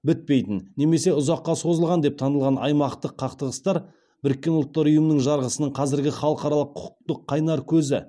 бітпейтін немесе ұзаққа созылған деп танылған аймақтық қақтығыстар біріккен ұлттары ұйымның жарғысының қазіргі халықаралық құқықтың қайнар көзі